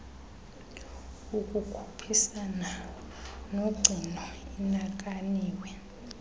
ukukhuphisana nogcino inakaniwe